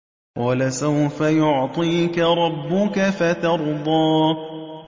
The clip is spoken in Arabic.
وَلَسَوْفَ يُعْطِيكَ رَبُّكَ فَتَرْضَىٰ